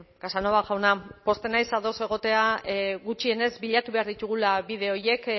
casanova jauna pozten naiz ados egotea gutxienez bilatu behar ditugula bide horiek